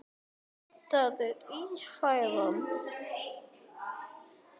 Það er Ífæran.